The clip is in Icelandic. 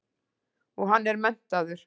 Og hann er menntaður.